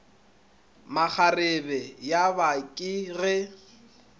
makgarebe ya ba ke ge